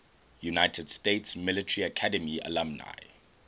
united states military academy alumni